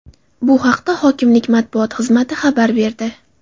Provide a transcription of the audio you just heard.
Bu haqda hokimlik matbuot xizmati xabar berdi.